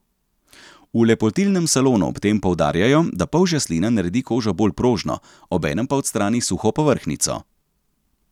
V lepotilnem salonu ob tem poudarjajo, da polžja slina naredi kožo bolj prožno, obenem pa odstrani suho povrhnjico.